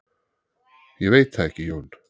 Ég veit það ekki Jón.